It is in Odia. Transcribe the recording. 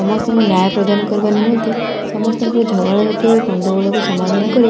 ସମସ୍ତଙ୍କୁ ନ୍ୟୟ ପ୍ରଦାନ କରାବା ନିମନ୍ତେ ସମସ୍ତଙ୍କ ଝଗଡାଝାଟି ଓ ଗଣ୍ଡଗୋଳ ସମାଧାନ କରି।